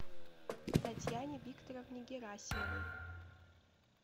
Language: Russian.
татьяне викторовне герасимовой